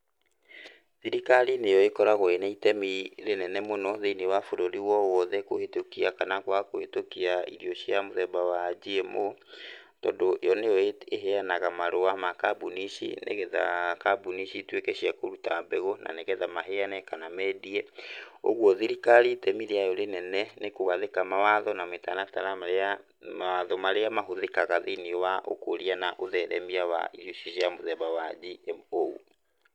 Thirikari nĩyo ĩkoragwo ĩna itemi rĩnene mũno thĩiniĩ wa bũrũri wowothe kũhĩtũkia kana kwaga kũhetũkia irio cia mũthemba wa GMO, tondũ yo nĩyo ĩheanaga marũa ma kambuni ici nĩgetha kambuni cituĩke cia kũruta mbegũ na nĩgetha maheana kana mendie, ũguo thirikari itemi rĩayo rĩnene nĩ kũgathĩka mawatho na mĩtaratara ya mawatho marĩa matũmĩkaga thĩiniĩ wa ũkũria na ũtheremia wa irio cia mũthemba wa GMO.